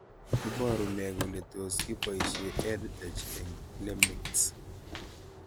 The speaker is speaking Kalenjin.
Iparu nee kole tos kipoishe EdTech eng' LMICS